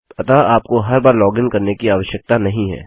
अतः आपको हर बार लॉगिन करने की आवश्यकता नहीं है